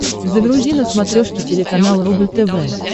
загрузи на смотрешке телеканал рубль тв